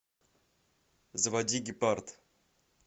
заводи гепард